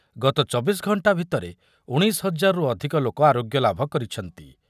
ଗତ ଚବିଶି ଘଣ୍ଟା ଭିତରେ ଉଣେଇଶି ହଜାରରୁ ଅଧିକ ଲୋକ ଆରୋଗ୍ୟଲାଭ କରିଛନ୍ତି ।